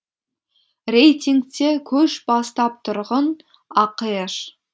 рейтингте көш бастап тұрғын ақш